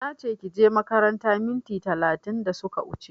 Nache kije makaranta minti talatin da suka wuche